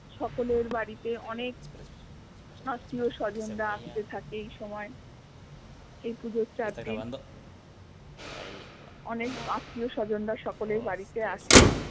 সকলের বাড়িতে অনেক আত্মীয় স্বজনরা আসতে থাকে এই সময়ে এই পুজোর চারদিন অনেক আত্মীয় স্বজন রা সকলের বাড়িতে আসে